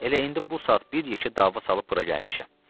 Elə indi bu saat bir yekə dava salıb bura gəlmişəm.